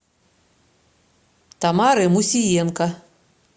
тамары мусиенко